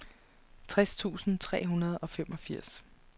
tres tusind tre hundrede og femogfirs